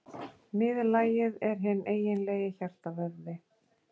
Miðlagið er hinn eiginlegi hjartavöðvi.